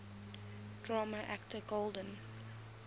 drama actor golden